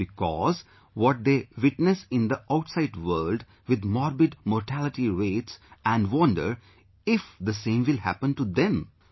It is because what they witness in the outside world with morbid mortality rates and wonder if the same will happen to them